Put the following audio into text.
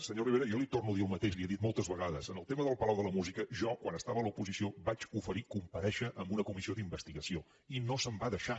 senyor rivera jo li torno a dir el mateix li ho he dit moltes vegades en el tema del palau de la música jo quan estava a l’oposició vaig oferir comparèixer en una comissió d’investigació i no se’m va deixar